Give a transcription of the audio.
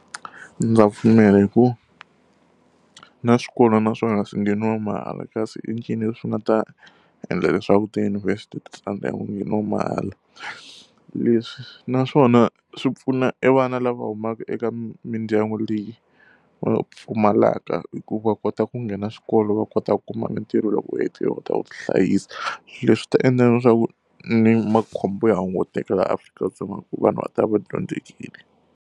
Ndza pfumela hikuva na swikolo naswona swi ngheniwa mahala kasi i ncini leswi nga ta endla leswaku tiyunivhesi ti tsandzeka ku ngheniwa mahala? Leswi naswona swi pfuna evana lava humaka eka mindyangu leyi va pfumalaka hikuva u kota ku nghena xikolo, va kota ku kuma mitirho loko ta ku tihlayisa. Leswi ta endla leswaku ni makhombo ya hunguteka laha Afrika-Dzonga hikuva vanhu va ta va va dyondzekile.